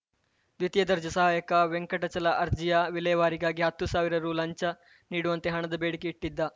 ದ್ವಿತೀಯ ದರ್ಜೆ ಸಹಾಯಕ ವೆಂಕಟಚಲ ಅರ್ಜಿಯ ವಿಲೇವಾರಿಗಾಗಿ ಹತ್ತು ಸಾವಿರ ರು ಲಂಚ ನೀಡುವಂತೆ ಹಣದ ಬೇಡಿಕೆ ಇಟ್ಟಿದ್ದ